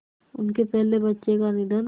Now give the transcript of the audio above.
उनके पहले बच्चे का निधन